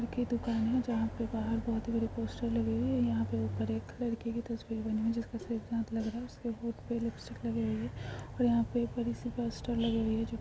आगे दुकान है जहाँ पे बहार बहोत बड़े पोस्टर लगे हुए यहाँ पर ऊपर एक लड़की की तस्वीर बनी हुई है जिसका लग रहा होंठ पे लिपस्टिक लगी है यहाँ पे बड़ी सी पोस्टर लगी हुई है जो --